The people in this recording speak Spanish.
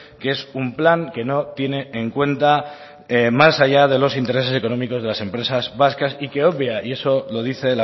que es un plan que no tiene en cuenta más allá de los intereses económicos de las empresas vascas y que obvia y eso lo dice